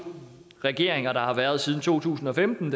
regeringer der har været siden to tusind og femten